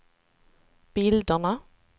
bilderna